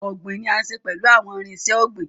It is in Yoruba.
Farming is done with farming tools